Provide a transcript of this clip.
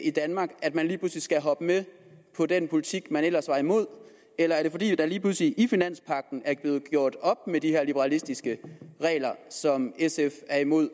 i danmark at man lige pludselig skal hoppe med på den politik man ellers var imod eller er det fordi der lige pludselig i finanspagten er blevet gjort op med de her liberalistiske regler som sf er imod